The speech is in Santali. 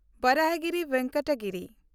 ᱵᱟᱨᱟᱦᱟᱜᱤᱨᱤ ᱵᱷᱮᱱᱠᱟᱴᱟ ᱜᱤᱨᱤ